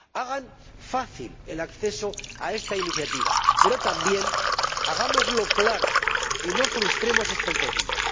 Hagan fácil el acceso a esta iniciativa, pero, también, hagámoslo de forma clara y no frustremos expectativas.